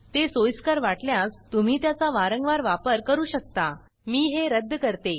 ते सोइस्कर वाटल्यास तुम्ही त्याचा वारंवार वापर करू शकता मी हे रद्द करते